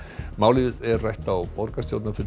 málið er rætt á borgarstjórnarfundi